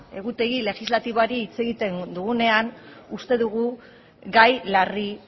egutegi legislatiboari buruz hitz egiten dugunean uste dugu gai larri